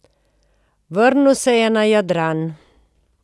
Vrnil se je na Jadran.